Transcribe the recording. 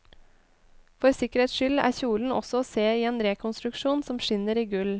For sikkerhets skyld er kjolen også å se i en rekonstruksjon som skinner i gull.